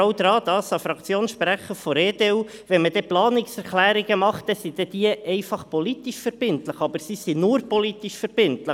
Noch an den Fraktionssprecher der EDU: Planungserklärungen sind politisch verbindlich, aber sie sind nur politisch verbindlich.